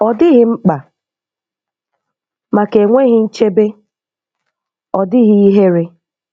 Ọ dịghị mkpa maka enweghị nchebe, ọ dịghị ihere.